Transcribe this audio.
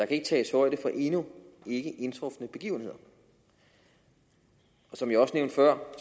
kan tages højde for endnu ikke indtrufne begivenheder som jeg også nævnte før